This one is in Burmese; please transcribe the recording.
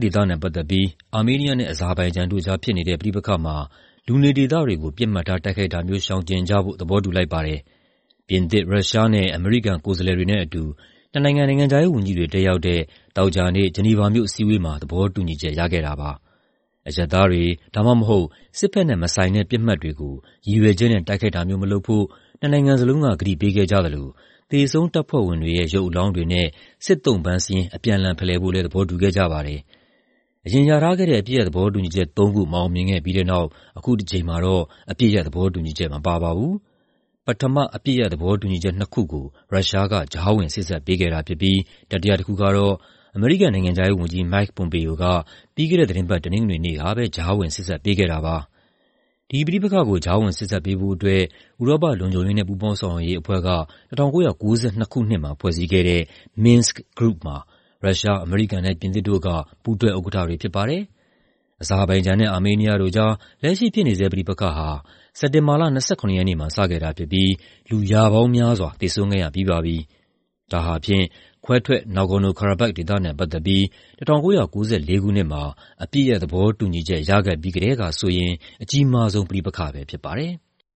ဒေသနဲ့ပတ်သက်ပြီး အာမေးနီးယားနဲ့ အဇာဘိုင်ဂျန်တို့ကြား ဖြစ်နေတဲ့ ပဋိပက္ခမှာ လူနေဒေသတွေကို ပစ်မှတ်ထား တိုက်ခိုက်တာမျိုး ရှောင်ကြဖို့ သဘောတူလိုက်ပါတယ်။ ပြင်သစ်၊ ရုရှားနဲ့ အမေရိကန် ကိုယ်စားလှယ်တွေနဲ့အတူ နှစ်နိုင်ငံ နိုင်ငံခြားရေးဝန်ကြီးတွေ တက်ရောက်တဲ့ သောကြာနေ့ ဂျီနီဗာမြို့ အစည်းအဝေးမှာ သဘောတူညီချက် ရခဲ့တာပါ။ အရပ်သားတွေ ဒါမှမဟုတ် စစ်ဘက်နဲ့မဆိုင်တဲ့ ပစ်မှတ်တွေကို ရည်ရွယ်ချက်နဲ့ တိုက်ခိုက်တာမျိုး မလုပ်ဖို့ နှစ်နိုင်ငံလုံးက ကတိပေးခဲ့ကြသလို သေဆုံးတပ်ဖွဲ့ဝင်တွေရဲ့ ရုပ်အလောင်းတွေနဲ့ စစ်သုံ့ပန်းစာရင်း အပြန်အလှန် ဖလှယ်ဖို့ သဘောတူခဲ့ကြပါတယ်။ အရင်ရထားခဲ့တဲ့ အပစ်ရပ် သဘောတူညီချက်သုံးခု မအောင်မြင်ခဲ့ပြီးတဲ့နောက် အခုတကြိမ်မှာတော့ အပစ်ရပ်သဘောတူညီချက် မပါပါဘူး။ ပထမ အပစ်ရပ် သဘောတူညီချက်နှစ်ခုကို ရုရှားက ကြားဝင်စေ့စပ်ပေးခဲ့တာဖြစ်ပြီး တတိယတခုကတော့ အမေရိကန် နိုင်ငံခြားရေးဝန်ကြီး Mike Pompeo က ပြီးခဲ့တဲ့သီတင်းပတ် တနင်္ဂနွေနေ့မှာ ကြားဝင်စေ့စပ်ပေးခဲ့တာပါ။ ဒီပဋိပက္ခကို ကြားဝင်စေ့စပ်ပေးဖို့အတွက် ဥရောပ လုံခြုံရေးနဲ့ ပူးပေါင်းဆောင်ရွက်ရေးအဖွဲ့က ၁၉၉၂ ခုနှစ်မှာ ဖွဲ့စည်းခဲ့တဲ့ Minsk Group မှာ ရုရှား၊ အမေရိကန်နဲ့ ပြင်သစ်တို့က ပူးတွဲဥက္ကဋ္ဌတွေ ဖြစ်ပါတယ်။ အဇာဘိုင်ဂျန်နဲ့ အာမေးနီးယားတို့ကြား လက်ရှိဖြစ်နေဆဲ ပဋိပက္ခဟာ စက်တင်ဘာလ ၂၇ ရက်နေ့မှာ စခဲ့တာဖြစ်ပြီး လူ ရာပေါင်းများစွာ သေဆုံးခဲ့ရပြီးပါပြီ။ ဒါဟာ ခွဲထွက် Nagorno-Karabakh ဒေသနဲ့ပတ်သက်ပြီး ၁၉၉၄ ခုနှစ်မှာ အပစ်ရပ်သဘောတူညီချက် ရခဲ့ပြီးကတည်းဆိုရင် အကြီးမားဆုံး ပဋိပက္ခပဲ ဖြစ်ပါတယ်။